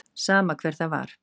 Sama hver það var.